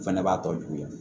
O fɛnɛ b'a tɔ juguya